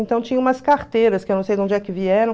Então tinha umas carteiras, que eu não sei de onde é que vieram.